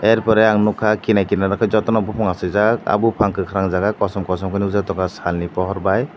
er pore ang nukha kinar kirar o khe jotono buphang achaijak ah buphang kwkhwrang jaga kosom kosom khe nukjak tongkha sal ni pohor bai.